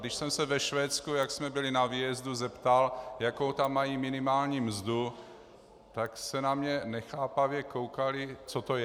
Když jsem se ve Švédsku, jak jsme byli na výjezdu, zeptal, jakou tam mají minimální mzdu, tak se na mě nechápavě koukali, co to je.